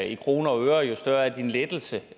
i kroner og øre jo større er din lettelse